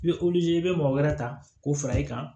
I bɛ i bɛ mɔgɔ wɛrɛ ta k'o fara i kan